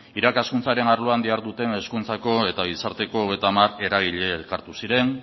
irakaskuntzaren arloan diharduten hezkuntzako eta gizarteko hogeita hamar eragile elkartu ziren